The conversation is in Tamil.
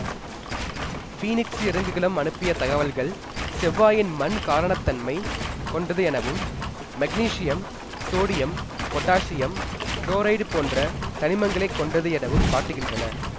பீனிக்சு இறங்குகலம் அனுப்பிய தகவல்கள் செவ்வாயின் மண் காரத்தன்மை கொண்டது எனவும் மக்னீசியம் சோடியம் பொட்டாசியம் குளோரைடு போன்ற தனிமங்களைக் கொண்டது எனவும் காட்டுகின்றன